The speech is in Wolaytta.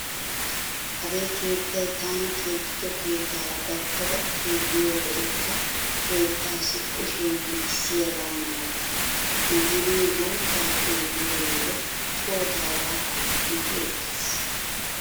Hagee keettay taani keexxido keettaara gattada xeelliyo wode ta keettaassi kushiya meecissiyaaga malatees. Makiinay guuttaa xeelliyo wode co taagaakko mati ekkees.